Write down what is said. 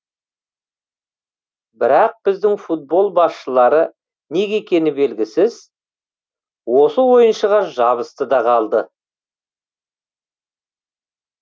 бірақ біздің футбол басшылары неге екені белгісіз осы ойыншыға жабысты да қалды